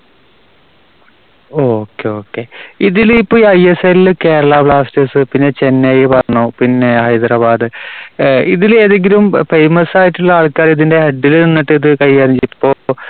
okay okay. ഇതിലിപ്പോ ഐഎസ്എല്ലില് Kerala Blasters പിന്നെ ചെന്നൈ പറഞ്ഞു പിന്നെ ഹൈദരാബാദ്. അഹ് ഇതില് ഏതെങ്കിലും famous ആയിട്ടുള്ള ആൾക്കാര് ഇതിന്റെ head ല് നിന്നിട്ട് ഇത് കൈകാര്യം